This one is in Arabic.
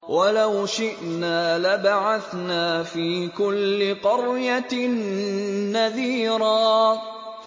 وَلَوْ شِئْنَا لَبَعَثْنَا فِي كُلِّ قَرْيَةٍ نَّذِيرًا